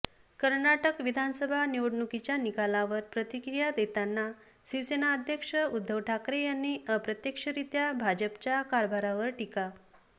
कर्नाटक विधानसभा निवडणुकीच्या निकालांवर प्रतिक्रिया देताना शिवसेना अध्यक्ष उद्धव ठाकरे यांनी अप्रत्यक्षरित्या भाजपच्या कारभारावर टीका